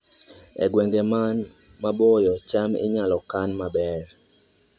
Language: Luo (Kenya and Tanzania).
E gwenge man maboyo, cham inyalo kan maber